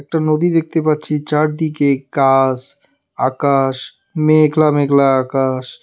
একটা নদী দেখতে পাচ্ছি চারদিকে গাছ আকাশ মেঘলা মেঘলা আকাশ।